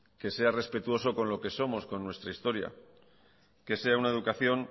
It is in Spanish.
que sea respetuoso con lo que somos con nuestra historia que sea una educación